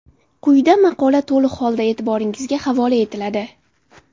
Quyida maqola to‘liq holda e’tiboringizga havola etiladi.